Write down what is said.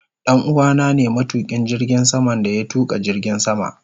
Danuwa na ne matukin jirgin sama da ya tuka jirgin sama.